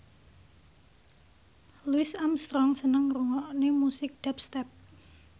Louis Armstrong seneng ngrungokne musik dubstep